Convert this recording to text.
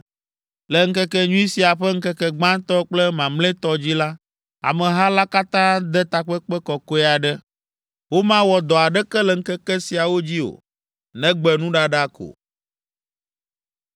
Le ŋkekenyui sia ƒe ŋkeke gbãtɔ kple mamlɛtɔ dzi la, ameha la katã ade takpekpe kɔkɔe aɖe. Womawɔ dɔ aɖeke le ŋkeke siawo dzi o, negbe nuɖaɖa ko.